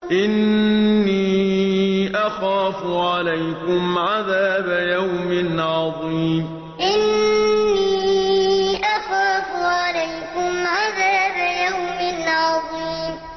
إِنِّي أَخَافُ عَلَيْكُمْ عَذَابَ يَوْمٍ عَظِيمٍ إِنِّي أَخَافُ عَلَيْكُمْ عَذَابَ يَوْمٍ عَظِيمٍ